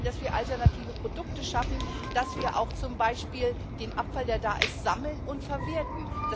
Wir müssen auch sehen, dass wir alternative Produkte schaffen, dass wir auch zum Beispiel den vorhandenen Abfall sammeln und verwerten.